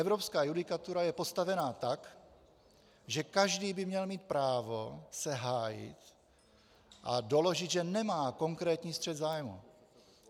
Evropská judikatura je postavena tak, že každý by měl mít právo se hájit a doložit, že nemá konkrétní střet zájmů.